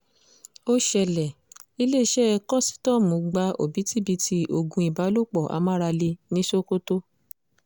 ó ṣẹlẹ̀ iléeṣẹ́ kósítọ́ọ̀mù gba òbítíbitì oògùn ìbálòpọ̀ amáralé ní sokoto